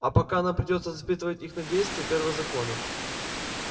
а пока нам придётся испытывать их на действие первого закона